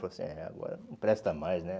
Falou assim, é, agora não presta mais, né?